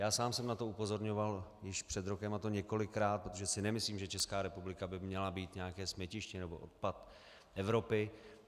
Já sám jsem na to upozorňoval už před rokem, a to několikrát, protože si nemyslím, že Česká republika by měla být nějaké smetiště nebo odpad Evropy.